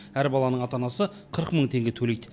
әр баланың ата анасы қырық мың теңге төлейді